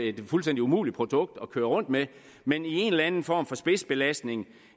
et fuldstændig umuligt produkt at køre rundt med men i en eller anden form for spidsbelastning